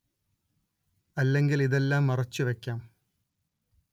അല്ലെങ്കിൽ ഇതെല്ലാം മറച്ചുവെക്കാം